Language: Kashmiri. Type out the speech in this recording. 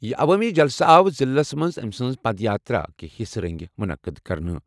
یہِ عوٲمی جلسہٕ آو ضِلعس منٛز أمہِ سٕنٛزِ پدیاترا کہِ حِصہٕ رنگہِ مُنعقد کرنہٕ۔